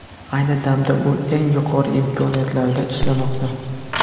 Ayni damda u eng yuqori imkoniyatlarda ishlamoqda.